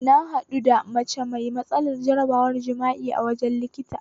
Na haɗu da mace mai matsalar jarabar jima'i a wajen likita